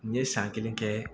N ye san kelen kɛ